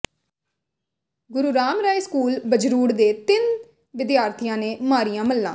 ਗੁਰੂ Ram Rai school Bajrur ਦੇ ਤਿੰਨ ਵਿਦਿਆਰਥੀਆਂ ਨੇ ਮਾਰੀਆਂ ਮੱਲਾਂ